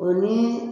O ni